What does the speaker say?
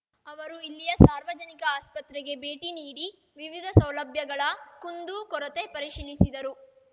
ಅವರು ಇಲ್ಲಿಯ ಸಾರ್ವಜನಿಕ ಆಸ್ಪತ್ರೆಗೆ ಭೇಟಿ ನೀಡಿ ವಿವಿಧ ಸೌಲಭ್ಯಗಳ ಕುಂದೂ ಕೊರತೆ ಪರಿಶೀಲಿಸಿದರು